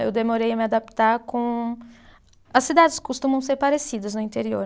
Eu demorei a me adaptar com. As cidades costumam ser parecidas no interior.